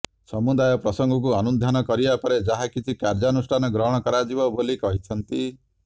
ସମୁଦାୟ ପ୍ରସଙ୍ଗକୁ ଅନୁଧ୍ୟାନ କରିବା ପରେ ଯାହା କିଛି କାର୍ଯ୍ୟାନୁଷ୍ଠାନ ଗ୍ରହଣ କରାଯିବ ବୋଲି କହିଛନ୍ତି